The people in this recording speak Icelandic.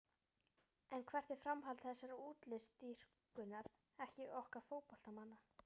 En hvert er framhald þessarar útlitsdýrkunar okkar fótboltamanna?